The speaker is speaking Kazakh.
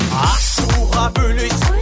ашуға бөлейсің